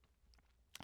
TV 2